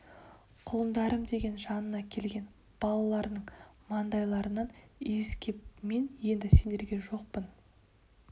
құлындарым деген жанына келген балаларының маңдайларынан иіскеп мен енді сендерге жоқпын